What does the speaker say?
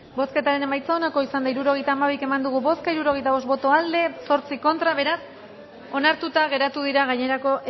bozketaren emaitza onako izan da hirurogeita hamairu eman dugu bozka hirurogeita bost boto aldekoa ocho contra beraz onartuta geratu dira gainerako